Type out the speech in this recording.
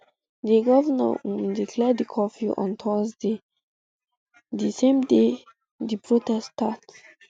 di govnor um declare di curfew on thursday um di same day di protest start